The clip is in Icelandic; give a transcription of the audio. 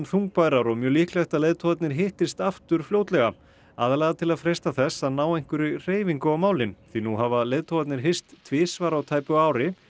þungbærar og mjög líklegt að leiðtogarnir hittist aftur fljótlega aðallega til að freista þess að ná einhverri hreyfingu á málin því nú hafa leiðtogarnir hist tvisvar á tæpu ári